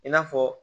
I n'a fɔ